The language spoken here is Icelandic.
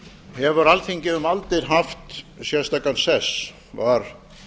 hefur alþingi um aldir haft sérstakan sess var